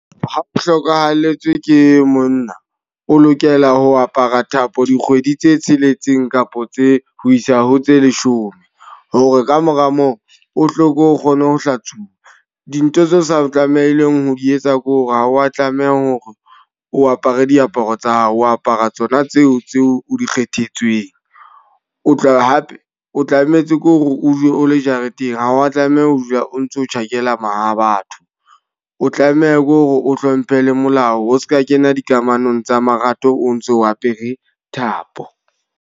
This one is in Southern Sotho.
Ha o hlokahalletswe ke monna, o lokela ho apara thapo dikgwedi tse tsheletseng kapa tse ho isa ho tse leshome. Hore ka mora moo o hloko o kgone ho hlatsuwa. Dintho tse sa tlamehileng ho di etsa ke hore ha wa tlameha hore o apare diaparo tsa hao, o apara tsona tseo tseo o di kgethetsweng. O tla hape o tlametse ke hore o dule o le jareteng. Ha wa tlameha ho dula o ntso tjhakela ma ha batho. O tlameha ke hore o hlomphe le molao o seka kena dikamanong tsa marato, o ntso o apere thapo.